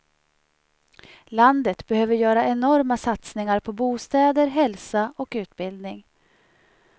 Landet behöver göra enorma satsningar på bostäder, hälsa och utbildning.